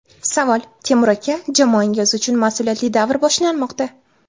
Savol: Temur aka, jamoangiz uchun mas’uliyatli davr boshlanmoqda.